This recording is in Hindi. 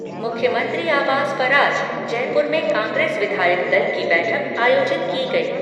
मुख्यमंत्री आवास पर आज जयपुर में कांग्रेस विधायक दल की बैठक आयोजित की गयी।